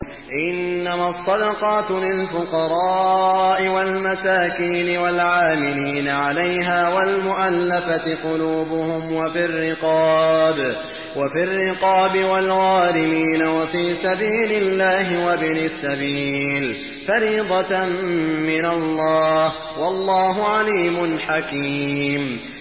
۞ إِنَّمَا الصَّدَقَاتُ لِلْفُقَرَاءِ وَالْمَسَاكِينِ وَالْعَامِلِينَ عَلَيْهَا وَالْمُؤَلَّفَةِ قُلُوبُهُمْ وَفِي الرِّقَابِ وَالْغَارِمِينَ وَفِي سَبِيلِ اللَّهِ وَابْنِ السَّبِيلِ ۖ فَرِيضَةً مِّنَ اللَّهِ ۗ وَاللَّهُ عَلِيمٌ حَكِيمٌ